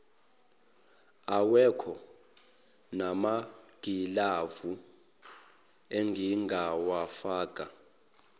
awekho namagilavu engingawafaka